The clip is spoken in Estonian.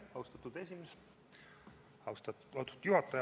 Austatud juhataja!